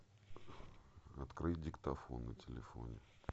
открыть диктофон на телефоне